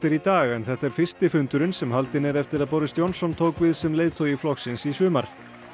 í dag en þetta er fyrsti fundurinn sem haldinn er eftir að Boris Johnson tók við sem leiðtogi flokksins í sumar